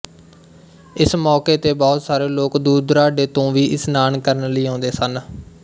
ਇਸ ਮੌਕੇ ਤੇ ਬਹੁਤ ਸਾਰੇ ਲੋਕ ਦੁਰ ਦੁਰਾਡੇ ਤੋਂ ਵੀ ਇਸ਼ਨਾਨ ਕਰਨ ਲਈ ਆਉਂਦੇ ਸਨ